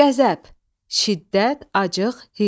Qəzəb, şiddət, acıq, hirs.